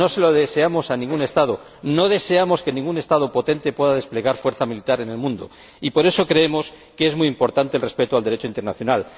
No se lo deseamos a ningún Estado, no deseamos que ningún Estado potente pueda desplegar fuerza militar en el mundo, y por eso creemos que es muy importante el respeto del Derecho internacional.